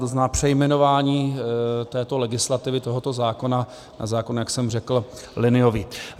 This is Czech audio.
To znamená přejmenování této legislativy, tohoto zákona, na zákon, jak jsem řekl, liniový.